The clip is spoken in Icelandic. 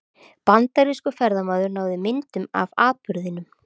Bandarískur ferðamaður náði myndum af atburðinum